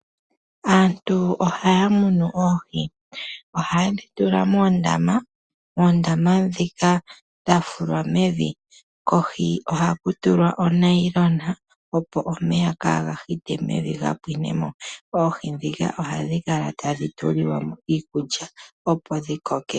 Aantu ohaya mono oohi, ohaye dhi tula moondama dhika dha fulwa mevi kohi ohaku tulwa onailona opo omeya kaga hite mevi ga pwinemo. Oohi dhika ohadhi kala tadhi tulilwamo iikulya opo dhi koke.